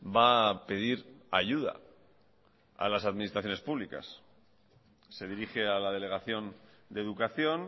va a pedir ayuda a las administraciones públicas se dirige a la delegación de educación